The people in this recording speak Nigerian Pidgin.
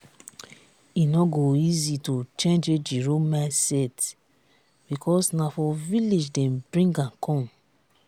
e no go easy to change ejiro mindset because na for village dem bring am come